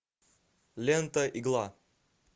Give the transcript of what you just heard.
лента игла